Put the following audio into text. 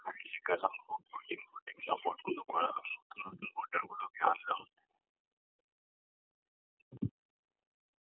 হা পছন্দ করা